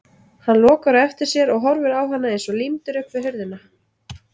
Hann lokar á eftir sér og horfir á hana eins og límdur upp við hurðina.